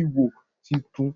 iwo tuntun